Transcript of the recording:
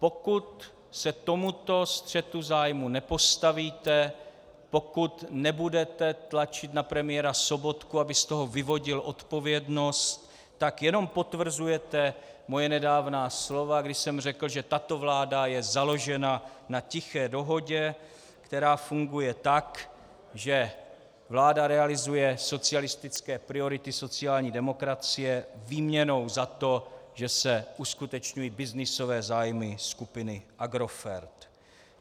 Pokud se tomuto střetu zájmů nepostavíte, pokud nebudete tlačit na premiéra Sobotku, aby z toho vyvodil odpovědnost, tak jenom potvrzujete moje nedávná slova, kdy jsem řekl, že tato vláda je založena na tiché dohodě, která funguje tak, že vláda realizuje socialistické priority sociální demokracie výměnou za to, že se uskutečňují byznysové zájmy skupiny Agrofert.